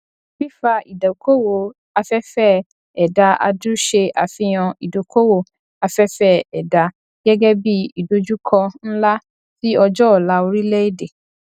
fífa ìdókòwó afẹfẹ ẹdá adu se àfihàn ìdókòwó afẹfẹ ẹdá gẹgẹ bí ìdojúkọ ńlá sí ọjọ ọla orílẹ èdè